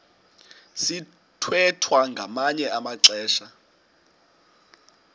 sithwethwa ngamanye amaxesha